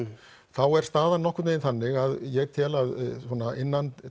þá er staðan nokkurn vegin þannig að ég tel að innan